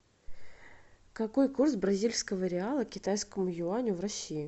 какой курс бразильского реала к китайскому юаню в россии